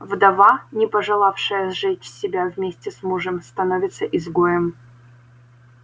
вдова не пожелавшая сжечь себя вместе с мужем становится изгоем